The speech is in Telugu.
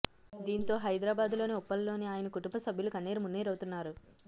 దీంతో హైదరాబాదులోని ఉప్పల్ లోని ఆయన కుటుంబ సభ్యులు కన్నీరు మున్నీరవుతున్నారు